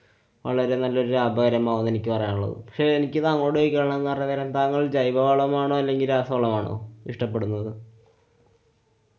വളരെനല്ലൊരു ലാഭകരമാവും ന്നെ എനിക്ക് പറയാനൊള്ളൂ. പക്ഷെ എനിക്ക് താങ്ങളോട് ചോയ്ക്കാനുള്ളതുന്നു പറഞ്ഞു കഴിഞ്ഞാല് താങ്കള് ജൈവവളമാണോ, അല്ലെങ്കില്‍ രാസവളമാണോ ഇഷ്ട്ടപ്പെടുന്നത്?